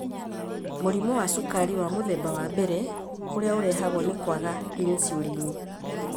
Mũrimũ wa Cukari wa Mũthemba wa mbere ũrĩa ũrehagwo nĩ kwaga insulin.